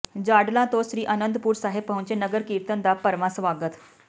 ਜਾਡਲਾ ਤੋਂ ਸ੍ਰੀ ਅਨੰਦਪੁਰ ਸਾਹਿਬ ਪਹੁੰਚੇ ਨਗਰ ਕੀਰਤਨ ਦਾ ਭਰਵਾਂ ਸਵਾਗਤ